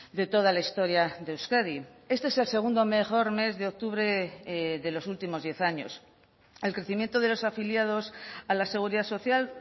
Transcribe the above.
de toda la historia de euskadi este es el segundo mejor mes de octubre de los últimos diez años el crecimiento de los afiliados a la seguridad social